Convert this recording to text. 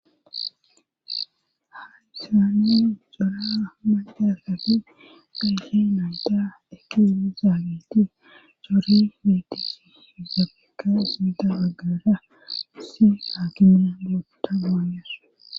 hayisaani cora macaakati gayhi nabda ekiini zaagiti coori wetis yuzafeka isida aggara issi haakiminagoota gonyas